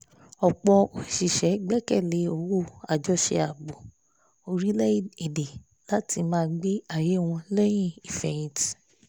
ọ̀pọ̀ òṣìṣẹ́ gbẹ́kẹ̀lé owó àjọṣe ààbò orílẹ̀-èdè láti máa gbé ayé wọn lẹ́yìn ìfeyìntí